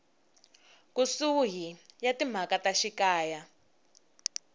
kusuhi ya timhaka ta xikaya